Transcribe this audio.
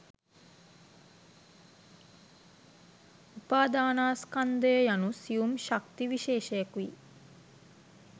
උපාදානස්කන්ධය යනු සියුම් ශක්ති විශේෂයකුයි.